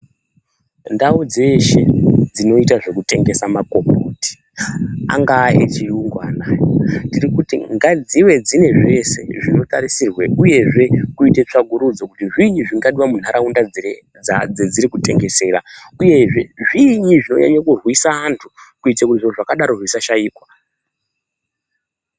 Ndau dzeshe dzinoita zvekutengesa magomboti angave echiyungu anaya. Tirikuti ngadzive dzinezveshe zvinotarisisrwa uyezve kuite tsvakurudzo kuti zviinyi zvingadiwa munharaunda dzadzirikutengeserwa uyezve zvinyi zvinonyanyo kurwisa antu kuitira kuti zviro zvakadaro zvisashaikwa